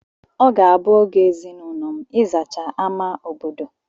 Ọ ga-abụ oge ezinaụlọ m ịzacha ámá obodo.